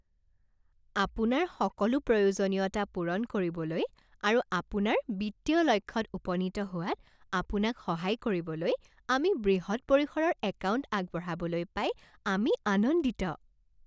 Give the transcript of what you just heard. আপোনাৰ সকলো প্ৰয়োজনীয়তা পূৰণ কৰিবলৈ আৰু আপোনাৰ বিত্তীয় লক্ষ্যত উপনীত হোৱাত আপোনাক সহায় কৰিবলৈ আমি বৃহৎ পৰিসৰৰ একাউণ্ট আগবঢ়াবলৈ পাই আমি আনন্দিত।